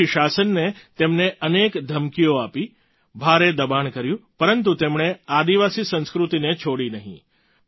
વિદેશી શાસને તેમને અનેક ધમકીઓ આપી ભારે દબાણ કર્યું પરંતુ તેમણે આદિવાસી સંસ્કૃતિને છોડી નહીં